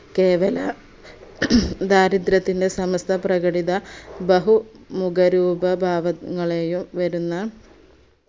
കേവല ദരിദ്രത്തിന്റെ സംസ്ഥ പ്രകടിത ബഹു മുഖരൂപ ഭാവങ്ങളെയും വരുന്ന